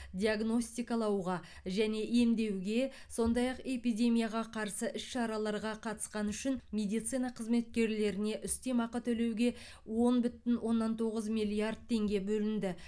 диагностикалауға және емдеуге сондай ақ эпидемияға қарсы іс шараларға қатысқаны үшін медицина қызметкерлеріне үстемеақы төлеуге он бүтін оннан тоғыз миллиард теңге бөлінді